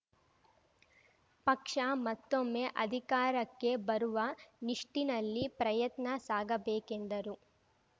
ಪಕ್ಷ ಮತ್ತೊಮ್ಮೆ ಅಧಿಕಾರಕ್ಕೆ ಬರುವ ನಿಷ್ಟಿನಲ್ಲಿ ಪ್ರಯತ್ನ ಸಾಗಬೇಕೆಂದರು